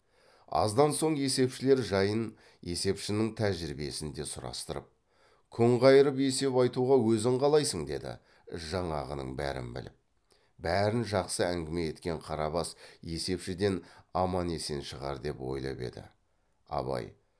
аздан соң есепшілер жайын есепшінің тәжірибесін де сұрастырып күн қайырып есеп айтуға өзің қалайсың деді жаңағының бәрін біліп бәрін жақсы әңгіме еткен қарабас есепшіден аман есен шығар деп ойлап еді абай